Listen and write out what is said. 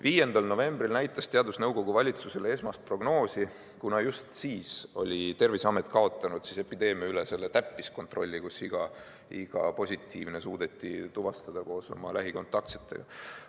5. novembril näitas teadusnõukoda valitsusele esmast prognoosi, kuna just siis oli Terviseamet kaotanud epideemia üle selle täppiskontrolli, kus iga positiivne suudeti tuvastada koos oma lähikontaktsetega.